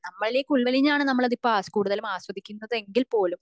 നമ്മളിലേക്ക് ഉള്വലിഞ്ഞതാണ് നമ്മൾ അത് കൂടുതലും ആസ്വദിക്കുന്നത് എങ്കിൽ പോലും